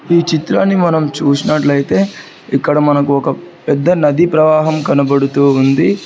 ఈ చిత్రాన్ని మనం చూసినట్లయితే ఇక్కడ మనకు ఒక పెద్ద నదీ ప్రవాహం కనబడుతూ ఉంది.